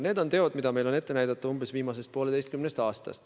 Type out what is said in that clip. Need on teod, mis meil on ette näidata umbes viimasest pooleteisest aastast.